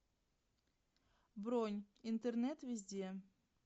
бронь интернет везде